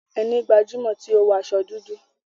Ẹni gbajumọ ti o wọ aṣọ dúdú.